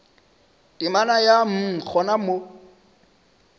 temana ya mm gona mo